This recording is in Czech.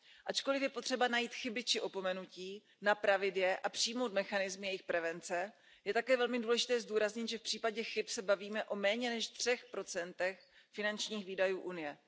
Ačkoliv je potřeba najít chyby či opomenutí, napravit je a přijmout mechanizmy jejich prevence, je také velmi důležité zdůraznit, že v případě chyb se bavíme o méně než 3 procentech finančních výdajů Unie.